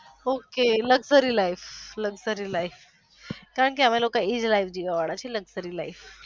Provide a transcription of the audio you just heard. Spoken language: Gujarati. ok luxury life કારણકે અમે લોકો એ જ life જીવવા વાળા છી luxury life